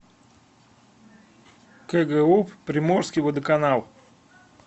кгуп приморский водоканал